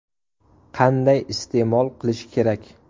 Qanday iste’mol qilish kerak?